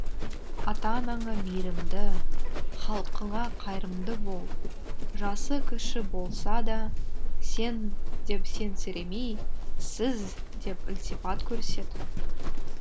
ата анаңа мейірімді халқыңа қайырымды бол жасы кіші болса да сен деп сенсіремей сіз деп ілтипат көрсет